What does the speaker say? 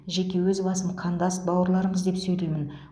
жеке өз басым қандас бауырларымыз деп сөйлеймін